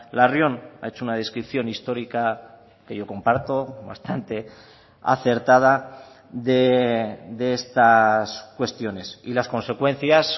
larrion ha hecho una descripción histórica que yo comparto bastante acertada de estas cuestiones y las consecuencias